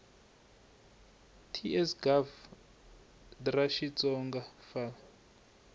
ts gov dra xitsonga fal